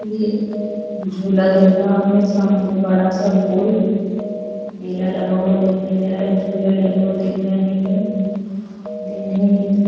ये झूला दिख रहा में सामने बड़ा सा गोल मेला लगा हुआ दिखाई दे रहा है झूले लगे हुए दिख रहे हैं दिन है ये दिन --